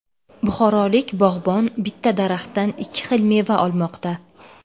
Buxorolik bog‘bon bitta daraxtdan ikki xil meva olmoqda.